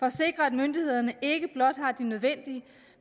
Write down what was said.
at sikre at myndighederne ikke blot har de nødvendige